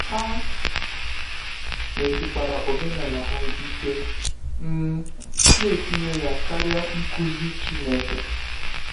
Ha mesikwara omenala ha ike, um na-etinye ya karịa nkuzi Chineke.